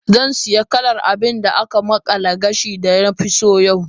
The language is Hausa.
Zan sayi kalar abin da aka makala gashin da na fi so yau.